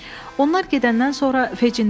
Onlar gedəndən sonra Fegin dedi.